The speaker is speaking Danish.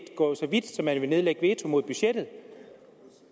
gå så vidt som til at nedlægge veto mod budgettet